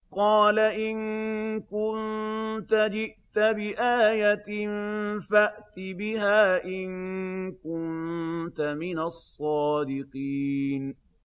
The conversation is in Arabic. قَالَ إِن كُنتَ جِئْتَ بِآيَةٍ فَأْتِ بِهَا إِن كُنتَ مِنَ الصَّادِقِينَ